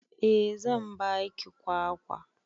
Eh zan ba ki kwakwa.